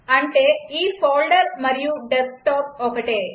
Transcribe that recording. అంటే ఈ ఫోల్డర్ మరియు డెస్క్టాప్ ఒకటే